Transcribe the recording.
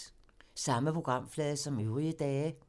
Samme programflade som øvrige dage